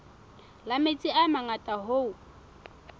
la metsi a mangata hoo